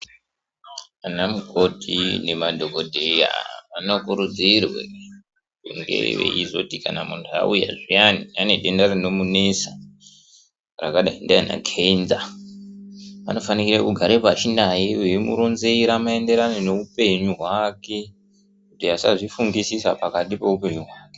Anamukoti nemadhogodheya vanokurudzirwe kunge veizoti kana muntu auya zviyani anedenda rinomunesa, rakadai ndiana kenza. Anofanike kugare pashi naye veimuronzera maenderano ngeupenyu hwake kuti asazvifungisisa pakati peupenyu hwake.